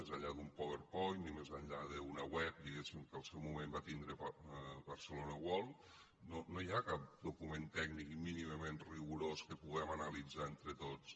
més enllà d’un powerpoint i més enllà d’una web diguem ne que al seu moment va tindre barcelona world no hi ha cap document tècnic mínimament rigorós que puguem analitzar entre tots